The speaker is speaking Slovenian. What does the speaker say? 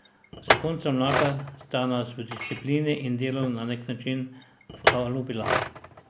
Zakonca Mlakar sta nas v disciplini in delu na nek način vkalupila.